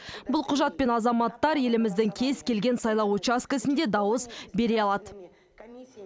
бұл құжатпен азаматтар еліміздің кез келген сайлау учаскісінде дауыс бере алады